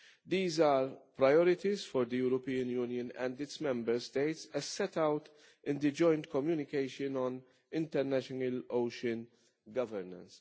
These are priorities for the European Union and its Member States, as set out in the joint communication on international ocean governance.